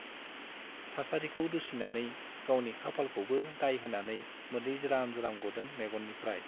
थासारिखौ दुसिनानै , गावनि खाफालखौबो दाय होनानै मोदै ज्राम ज्राम गदों मेग'ननिफ्राइ ।